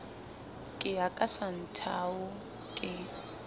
ke ya ka santhao ke